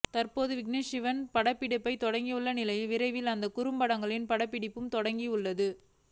தற்போது விக்னேஷ் சிவன் படப்பிடிப்பைத் தொடங்கியுள்ள நிலையில் விரைவில் அந்த குறும்படங்களின் படப்பிடிப்பும் தொடங்கவுள்ளது